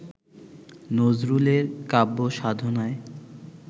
নজরুলের কাব্যসাধনায়